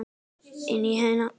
Inn í sinn heim.